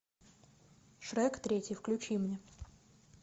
шрек третий включи мне